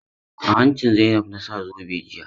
A hanci Zainab na sa zobe jiya.